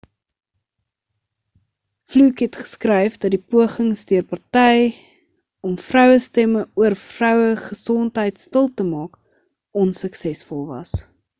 fluke het geskryf dat die pogings deur party om vrouestemme oor vrouegesondheid stil te maak onsuksesvol was